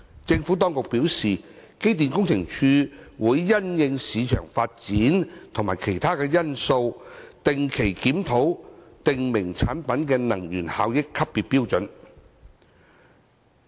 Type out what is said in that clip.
政府當局表示，機電工程署會因應市場發展及其他因素，定期檢討訂明產品的能源效益級別標準。